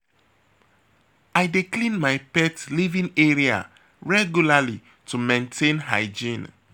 I dey clean my pet living area regularly to maintain hygiene.